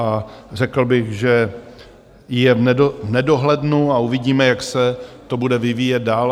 A řekl bych, že je v nedohlednu, a uvidíme, jak se to bude vyvíjet dál.